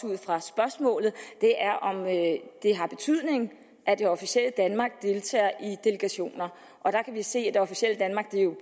ud fra spørgsmålet er om det har betydning at det officielle danmark deltager i delegationer og der kan vi se at det officielle danmark